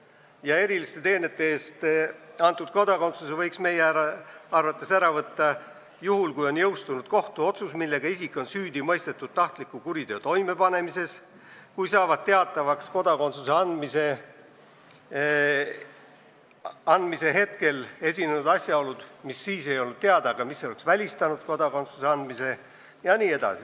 Meie arvates võiks eriliste teenete eest antud kodakondsuse ära võtta juhul, kui on jõustunud kohtuotsus, millega isik on süüdi mõistetud tahtliku kuriteo toimepanemises, kui saavad teatavaks kodakondsuse andmise hetkel esinenud asjaolud, mis siis ei olnud teada, aga mis oleks välistanud kodakondsuse andmise jne.